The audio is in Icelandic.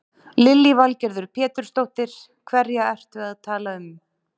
Lillý Valgerður Pétursdóttir: Hverja ertu að tala um?